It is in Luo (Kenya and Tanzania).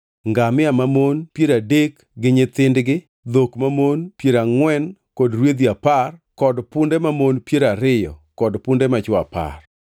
ngamia mamon piero adek gi nyithindgi, dhok mamon piero angʼwen kod rwedhi apar, kod punde mamon piero ariyo kod punde machwo apar.